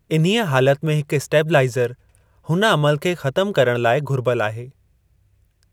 इन्हीअ हालत में हिकु असटीबलाईज़रु हुन अमलु खे ख़तमु करणु लाई घुर्बल आहे।